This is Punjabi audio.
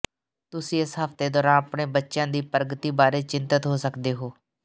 ਤੁਸੀਂ ਇਸ ਹਫਤੇ ਦੌਰਾਨ ਆਪਣੇ ਬੱਚਿਆਂ ਦੀ ਪ੍ਰਗਤੀ ਬਾਰੇ ਚਿੰਤਤ ਹੋ ਸਕਦੇ ਹੋ